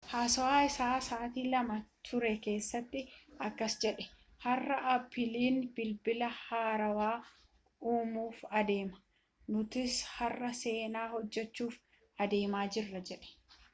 haasawa isaa sa'aa 2 ture keesatti akkas jedhe har'a appiliin bilbila haarawa uumuuf adeema nutis har'a seenaa hojjechuuf adeemaa jirra jedhe